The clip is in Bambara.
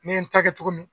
Ne ye n ta kɛ cogo min